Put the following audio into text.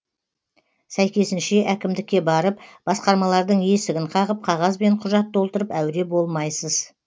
сәйкесінше әкімдікке барып басқармалардың есігін қағып қағаз бен құжат толтырып әуре болмайсыз